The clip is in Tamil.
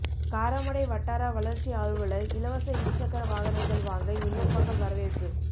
காரமடை வட்டார வளா்ச்சி அலுவலா் இலவச இருசக்கர வாகனங்கள் வாங்க விண்ணப்பங்கள் வரவேற்பு